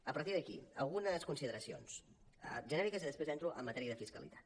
a partir d’aquí algunes consideracions genèriques i després entro en matèria de fiscalitat